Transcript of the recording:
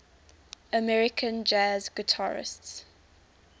american jazz guitarists